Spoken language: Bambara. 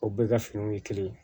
O bɛɛ ka finiw ye kelen ye